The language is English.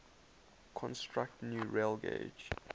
construct new railgauge